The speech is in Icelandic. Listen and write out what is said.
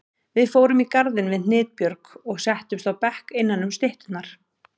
Við fórum í garðinn við Hnitbjörg og settumst á bekk innanum stytturnar.